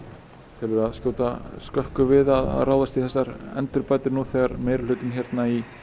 telur þú það skjóta skökku við að ráðast í þessar endurbætur nú þegar meirihlutinn í